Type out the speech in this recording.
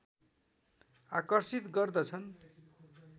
आकर्षित गर्दछन्।